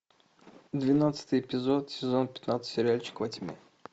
двенадцатый эпизод сезон пятнадцать сериальчик во тьме